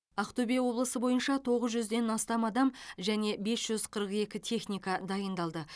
ақтөбе облысы бойынша тоғыз жүзден астам адам және бес жүз қырық екі техника дайындалды